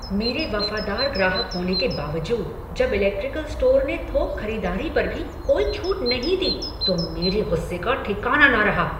मेरे वफादार ग्राहक होने के बावजूद जब इलेक्ट्रिकल स्टोर ने थोक ख़रीदारी पर भी कोई छूट नहीं दी तो मेरे गुस्से का ठिकाना न रहा।